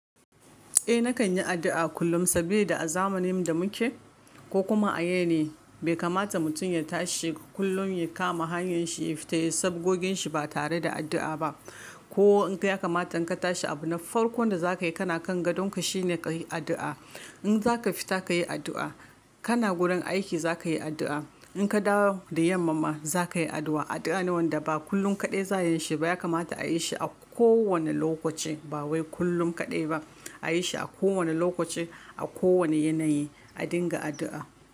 Eh nakan yi addu'a kullum sabilida a zamanin da muke ko kuma a yane bai kamata mutum ya tashi kullum ya kama hanyar shi ya fita sabogin shi ba tare da addu'a ba. Ko in ka ya kamata ka tashi abu na farko da za ka yi kana kan gadonka shine ka yi addu'a. In za ka fita ka yi addu'a, kana gurin aiki za ka yi addu'a, in ka dawo da yammama za ka yi addu'a. Addu'a ne wanda ba kullum kaɗai za yin shi ba ya kamata a yi shi a kowane lokaci ba wai kullum kaɗai ba. A yi shi a kowane lokaci a kowane yanayi. A dinga addu'a.